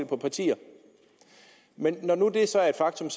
på partier men når nu det så er et faktum